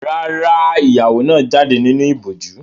Rárá, ìyàwó náà jáde nínú ìbòjú.